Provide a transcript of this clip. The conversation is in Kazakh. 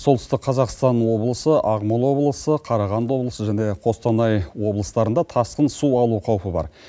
солтүстік қазақстан облысы ақмола облысы қарағанды облысы және қостанай облыстарында тасқын су алу қаупі бар